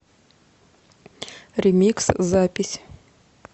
ремикс запись